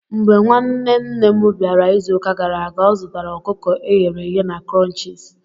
Mgbe nwanne nne m bịara izuụka gara aga, ọ zụtara ọkụkọ e ghere eghe na Crunchies.